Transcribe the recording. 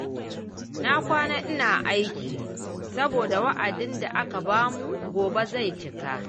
Na kwana ina aiki, saboda wa'adin da aka bamu gobe zai cika.